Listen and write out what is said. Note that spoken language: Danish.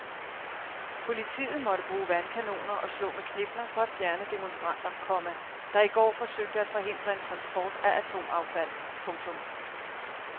Politiet måtte bruge vandkanoner og slå med knipler for at fjerne demonstranter, komma der i går forsøgte at forhindre en transport af atomaffald. punktum